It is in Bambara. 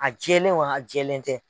A jɛlen wa a jɛlen tɛ.